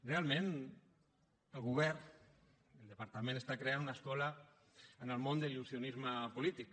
realment el govern el departament està creant una escola en el món de l’il·lusionisme polític